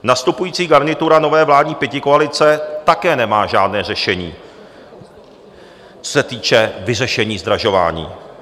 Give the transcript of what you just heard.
Nastupující garnitura nové vládní pětikoalice také nemá žádné řešení, co se týče vyřešení zdražování.